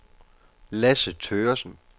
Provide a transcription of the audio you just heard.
Lasse Thøgersen